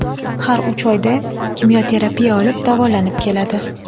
Har uch oyda kimyoterapiya olib, davolanib keladi.